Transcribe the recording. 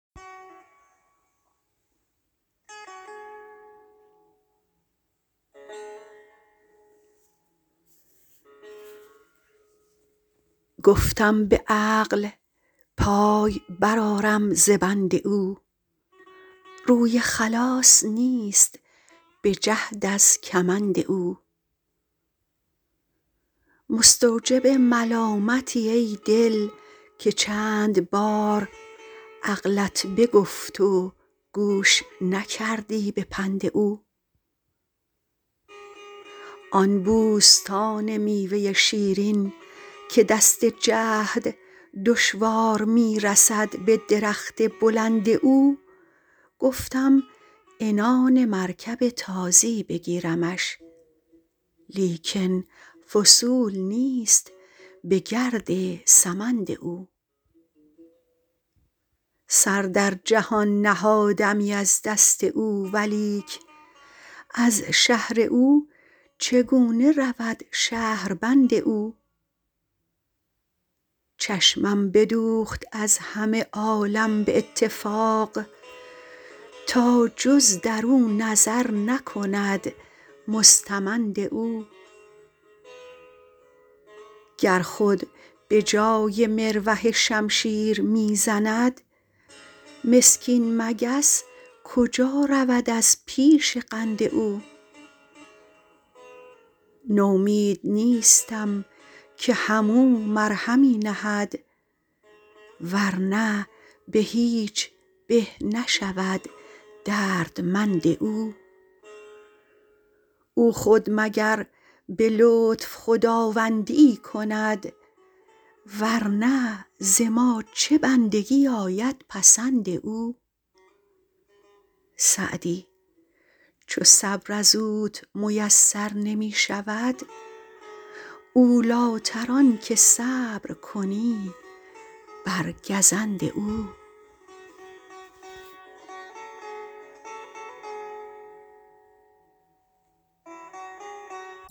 گفتم به عقل پای برآرم ز بند او روی خلاص نیست به جهد از کمند او مستوجب ملامتی ای دل که چند بار عقلت بگفت و گوش نکردی به پند او آن بوستان میوه شیرین که دست جهد دشوار می رسد به درخت بلند او گفتم عنان مرکب تازی بگیرمش لیکن وصول نیست به گرد سمند او سر در جهان نهادمی از دست او ولیک از شهر او چگونه رود شهربند او چشمم بدوخت از همه عالم به اتفاق تا جز در او نظر نکند مستمند او گر خود به جای مروحه شمشیر می زند مسکین مگس کجا رود از پیش قند او نومید نیستم که هم او مرهمی نهد ور نه به هیچ به نشود دردمند او او خود مگر به لطف خداوندی ای کند ور نه ز ما چه بندگی آید پسند او سعدی چو صبر از اوت میسر نمی شود اولی تر آن که صبر کنی بر گزند او